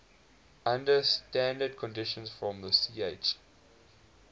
under standard conditions from ch